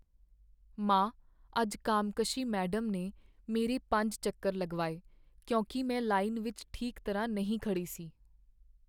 ਮਾਂ, ਅੱਜ ਕਾਮਕਸ਼ੀ ਮੈਡਮ ਨੇ ਮੇਰੇ ਪੰਜ ਚੱਕਰ ਲਗਵਾਏ ਕਿਉਂਕਿ ਮੈਂ ਲਾਈਨ ਵਿੱਚ ਠੀਕ ਤਰ੍ਹਾਂ ਨਹੀਂ ਖੜ੍ਹੀ ਸੀ